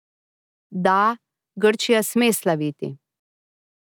Da, Grčija sme slaviti.